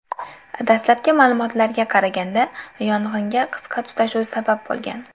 Dastlabki ma’lumotlarga qaraganda, yong‘inga qisqa tutashuv sabab bo‘lgan.